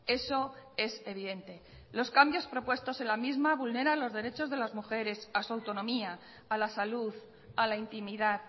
eso es evidente los cambios propuestos en la misma vulnera los derechos de las mujeres a su autonomía a la salud a la intimidad